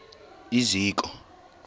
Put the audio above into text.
iziko